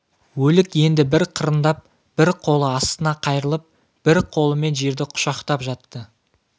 өлік енді бір қырындап бір қолы астына қайырылып бір қолымен жерді құшақтап жатты